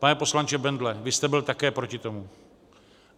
Pane poslanče Bendle, vy jste byl také proti tomu.